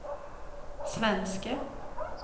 svenske